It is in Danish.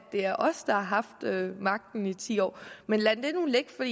er os der har haft magten i ti år men lad det nu ligge for